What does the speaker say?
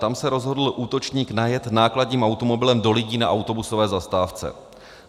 Tam se rozhodl útočník najet nákladním automobilem do lidí na autobusové zastávce.